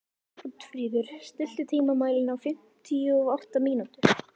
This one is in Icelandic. Oddfríður, stilltu tímamælinn á fimmtíu og átta mínútur.